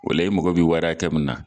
O la i mago bi wari akɛ min na